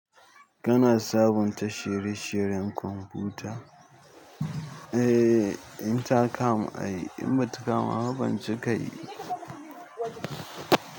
Kana sabunta shirye-shiryen kwamfuta? Eh, in ta kama ayi, in bata kama ba ban cika yi.